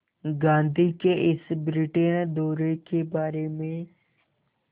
गांधी के इस ब्रिटेन दौरे के बारे में